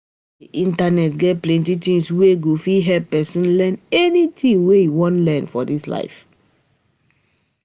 Di internet get plenty things wey go fit help pesin learn anything wey e wan learn for dis life.